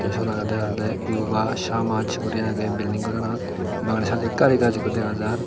siyot agedey olodey yuba samaj guri agey bilding goranot bangendi syde ekka guri gaaj ikko dega jaar.